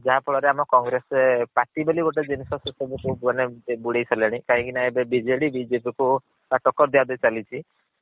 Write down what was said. ଯାହାଫଳ ରେ ଆମେ congress party ବୋଲି ଗୋଟେ ଜିନିଷ ସେସବୁ ସବୁ ମାନେ ବୁଡେଇ ସାରିଲେଣି। କାହିଁକି ନା ଏବେ BJD BJP କୁ ଟକକର୍ ଦିଆ ଦିଇ ଚାଲିଛି